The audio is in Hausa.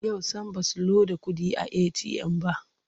Yau sam ba su loda kuɗi a eti'yam ba.